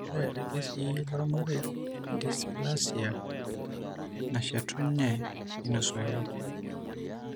Ore irkesii lormarei endysplasia nashetunye neinosuaki.